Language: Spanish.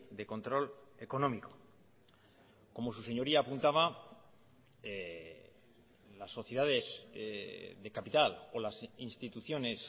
de control económico como su señoría apuntaba las sociedades de capital o las instituciones